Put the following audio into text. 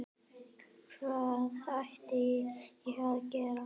Hvað ætti ég að gera?